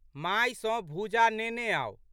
माय सँ भूजा लेने आउ।